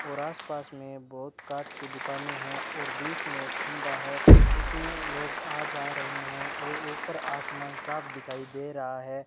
और आस पास में बहुत कांच की दुकानें हैं और बीच में खंबा है इसमें लोग आ जा रहे हैं और ऊपर आसमान साफ दिखाई दे रहा है।